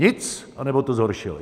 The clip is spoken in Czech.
Nic, anebo to zhoršili.